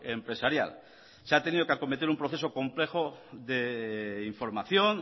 empresarial se ha tenido que acometer un proceso complejo de información